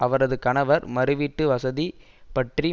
அவரது கணவர் மறு வீட்டு வசதி பற்றி